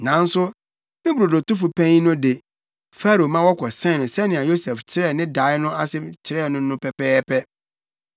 Nanso ne brodotofo panyin no de, Farao ma wɔkɔsɛn no sɛnea Yosef kyerɛɛ ne dae no ase kyerɛɛ no no pɛpɛɛpɛ.